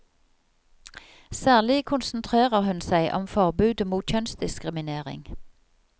Særlig konsentrerer hun seg om forbudet mot kjønnsdiskriminering.